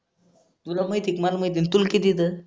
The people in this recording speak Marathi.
तुला माहिती का मला माहिती आहे. तुले किती त